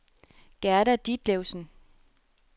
Gerda Ditlevsen